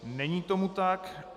Není tomu tak.